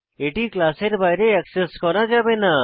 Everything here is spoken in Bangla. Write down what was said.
এটি ক্লাসের বাইরে অ্যাক্সেস করা যাবে না